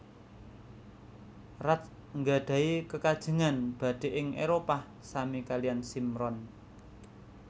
Raj nggadhahi kekajengan badhé ing Éropah sami kalian Simran